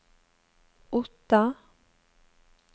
Otta